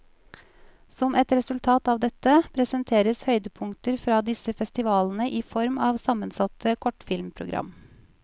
Som et resultat av dette, presenteres høydepunkter fra disse festivalene i form av sammensatte kortfilmprogram.